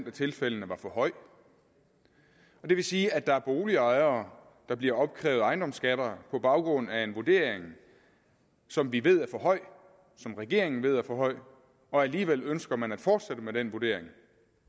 af tilfældene var for høj og det vil sige at der er boligejere der bliver opkrævet ejendomsskatter på baggrund af en vurdering som vi ved er for høj som regeringen ved er for høj og alligevel ønsker man at fortsætte med den vurdering